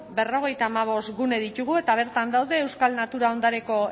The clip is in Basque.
berrogeita hamabost gune ditugu eta bertan daude euskal natura ondareko